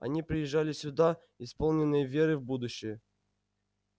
они приезжали сюда исполненные веры в будущее